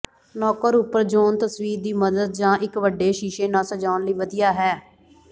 ਨੌਕਰ ਉਪਰ ਜ਼ੋਨ ਤਸਵੀਰ ਦੀ ਮਦਦ ਜ ਇੱਕ ਵੱਡੇ ਸ਼ੀਸ਼ੇ ਨਾਲ ਸਜਾਉਣ ਲਈ ਵਧੀਆ ਹੈ